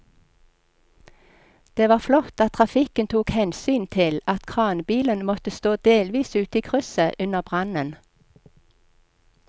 Det var flott at trafikken tok hensyn til at kranbilen måtte stå delvis ute i krysset under brannen.